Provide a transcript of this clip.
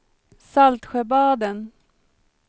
Saltsjöbaden